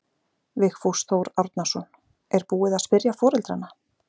Vigfús Þór Árnason: Er búið að spyrja foreldrana?